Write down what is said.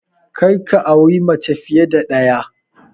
Kar ka auri mace fiye da ɗaya!